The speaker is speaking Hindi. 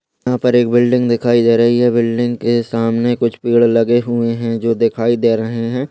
यहा पर एक बिल्डिंग दिखाई दे रही है बिल्डिंग के सामने कुछ पेड़ लगे हुए हैं जो दिखाई दे रहे हैं।